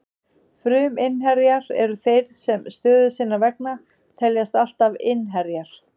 Fruminnherjar eru þeir sem stöðu sinnar vegna teljast alltaf innherjar.